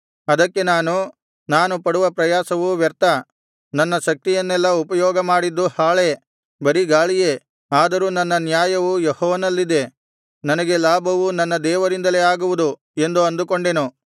ಅದಕ್ಕೆ ನಾನು ನಾನು ಪಡುವ ಪ್ರಯಾಸವು ವ್ಯರ್ಥ ನನ್ನ ಶಕ್ತಿಯನ್ನೆಲ್ಲಾ ಉಪಯೋಗಮಾಡಿದ್ದು ಹಾಳೇ ಬರಿ ಗಾಳಿಯೇ ಆದರೂ ನನ್ನ ನ್ಯಾಯವು ಯೆಹೋವನಲ್ಲಿದೆ ನನಗೆ ಲಾಭವು ನನ್ನ ದೇವರಿಂದಲೇ ಆಗುವುದು ಎಂದು ಅಂದುಕೊಂಡೆನು